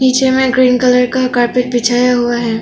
पीछे में green colour का कारपेट बिछाया हुआ है।